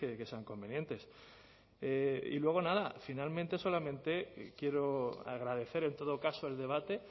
que sean convenientes y luego nada finalmente solamente quiero agradecer en todo caso el debate